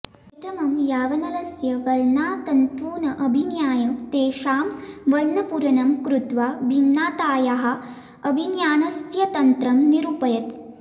प्रथमं यावानलस्य वर्णातन्तून् अभिज्ञाय तेषां वर्णपूरणं कृत्वा भिन्नातायाः अभिज्ञानस्य तन्त्रं निरूपयत्